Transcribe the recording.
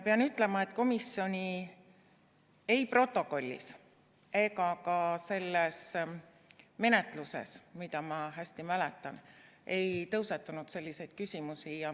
Pean ütlema, et komisjoni protokollis ega ka selle menetluse käigus, mida ma hästi mäletan, ei tõusetunud selliseid küsimusi.